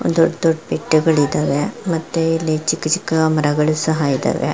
ದೊಡ್ ದೊಡ್ಡ್ ಬೆಟ್ಟಗಳಿದ್ದಾವೆ ಮತ್ತೆ ಇಲ್ಲಿ ಚಿಕ್ ಚಿಕ್ಕ ಮರಗಳು ಸಹ ಇದಾವೆ.